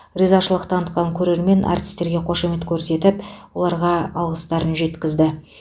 ризашылық танытқан көрермен артистерге қошемет көрсетіп оларға алғыстарын жеткізді